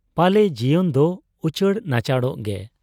ᱯᱟᱞᱮ ᱡᱤᱭᱚᱱᱫᱚ ᱩᱪᱟᱹᱲ ᱱᱟᱪᱟᱲᱚᱜ ᱜᱮ ᱾